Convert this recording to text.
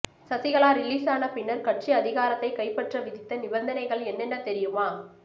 Sasikala release ஆன பின்னர் கட்சி அதிகாரத்தைக் கைப்பற்ற விதித்த நிபந்தனைகள் என்னென்ன தெரியுமா